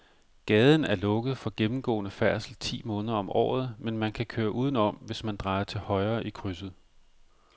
Gaden er lukket for gennemgående færdsel ti måneder om året, men man kan køre udenom, hvis man drejer til højre i krydset.